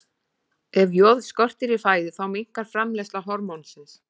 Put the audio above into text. Ef joð skortir í fæðu þá minnkar framleiðsla hormónsins.